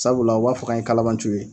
Sabula o b'a fɔ k'an ye kalanbanciw ye